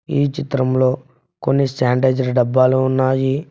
ఈ చిత్రంలో కొన్ని శానిటైజర్ డబ్బాలు ఉన్నాయి.